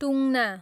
टुङ्ना